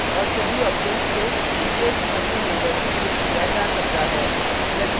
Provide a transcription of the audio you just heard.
और सभी objects को विशेष समूह में वर्गीकृत किया जा सकता है